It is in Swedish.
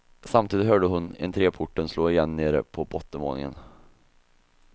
Samtidigt hörde hon entreporten slå igen nere på bottenvåningen.